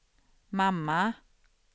mamma